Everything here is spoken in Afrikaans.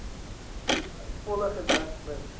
volle gedek mits